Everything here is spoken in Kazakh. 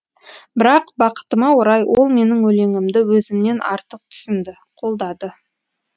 бірақ бақытыма орай ол менің өлеңімді өзімнен артық түсінді қолдады